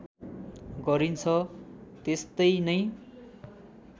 गरिन्छ त्यस्तै नै